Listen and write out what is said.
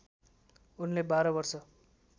उनले १२ वर्ष